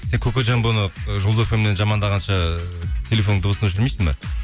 сен кокожамбоны ы жұлдыз фм нен жамандағанша телефоныңның дыбысын өшірмейсің бе